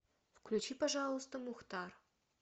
включи пожалуйста мухтар